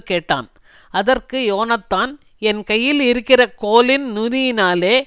கேட்டான் அதற்கு யோனத்தான் என் கையில் இருக்கிற கோலின் நுனியினாலே